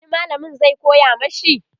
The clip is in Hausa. wani mallamin zai koya mashi?